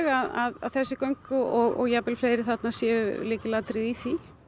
að þessi göng og jafnvel fleiri þarna séu lykilatriði í því